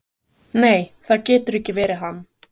Nei, það getur ekki verið hann.